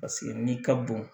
Paseke n'i ka bon